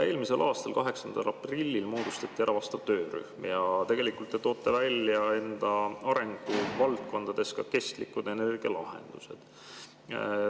Eelmisel aastal 8. aprillil moodustati vastav töörühm ja tegelikult te toote arenguvaldkondades välja ka kestlikud energialahendused.